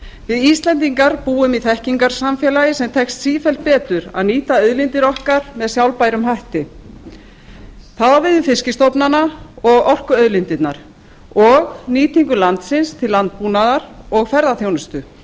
við íslendingar búum í þekkingarsamfélagi sem tekst sífellt betur að nýta auðlindir okkar með sjálfbærum hætti það á við um fiskstofnana og orkuauðlindirnar og nýtingu landsins til landbúnaðar og ferðaþjónustu